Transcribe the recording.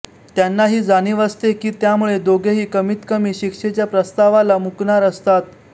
त्यांना ही जाणीव असते की त्यामुळे दोघेही कमीतकमी शिक्षेच्या प्रस्तावाला मुकणार असतात